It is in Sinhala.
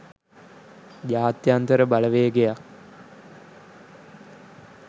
ජාත්‍යන්තර බලවේගයක්